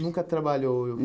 Nunca trabalhou.